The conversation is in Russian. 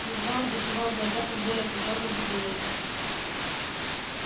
едва он закрывал глаза как боль от ожога будила его